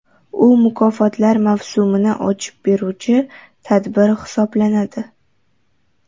U mukofotlar mavsumini ochib beruvchi tadbir hisoblanadi.